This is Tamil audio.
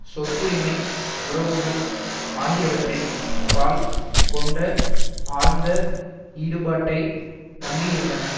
சொத்துரிமை உறவுகள் ஆகியவற்றின் பால் கொண்ட ஆழ்ந்த ஈடுபாட்டை நம்பியிருந்தன